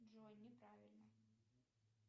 джой не правильно